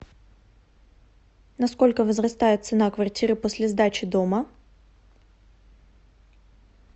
на сколько возрастает цена квартиры после сдачи дома